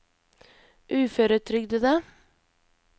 uføretrygdede